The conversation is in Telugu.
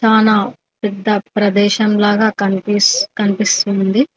చానా పెద్ద ప్రదేశం లాగా కనిపిస్ కనిపిస్తుంది.